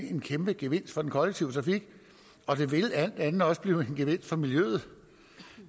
en kæmpe gevinst for den kollektive trafik og det vil alt andet lige også blive en gevinst for miljøet